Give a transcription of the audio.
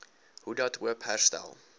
hoedat hoop herstel